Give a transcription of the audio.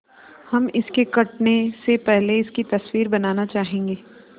हम इसके कटने से पहले इसकी तस्वीर बनाना चाहेंगे